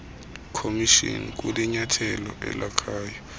commission kulinyathelo elakhayo